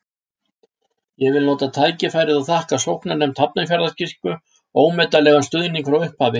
Ég vil nota tækifærið og þakka sóknarnefnd Hafnarfjarðarkirkju ómetanlegan stuðning frá upphafi.